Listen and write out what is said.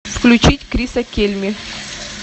включить криса кельми